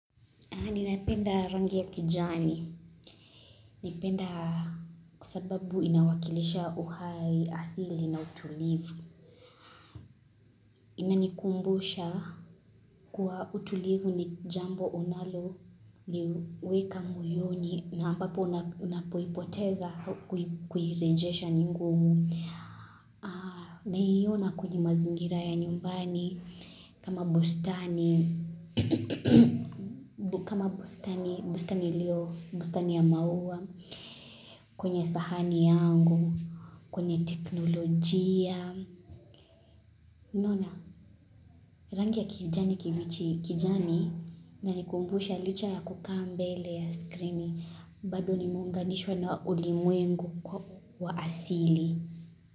Ninapenda rangi ya kijani. Naipenda kwa sababu inawakilisha uhai asili na utulivu. Inanikumbusha kuwa utulivu ni jambo unaloliweka moyoni na ambapo unapoipoteza kuirejesha ni ngumu. Na hiyo na kuna mazingira ya nyumbani kama bustani. Kama bustani, bustani iliyo, bustani ya maua. Kwenye sahani yangu, kwenye teknolojia unaona, rangi ya kijani kijani inanikumbusha licha ya kukaa mbele ya skrini bado nimeunganishwa na ulimwengu kwa asili.